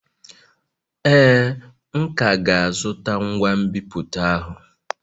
Ee, m ka ga-azụta ngwa nbipute ahụ